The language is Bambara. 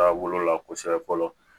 Taa wolo la kosɛbɛ fɔlɔ